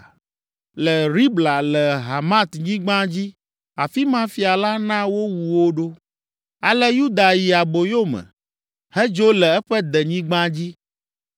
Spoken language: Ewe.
Le Ribla, le Hamatnyigba dzi, afi ma fia la na wowu wo ɖo. Ale Yuda yi aboyo me, hedzo le eƒe denyigba dzi.